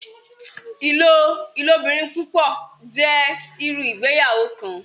Ilobirin-pupọ jẹ iru Ìgbéyàwó kan.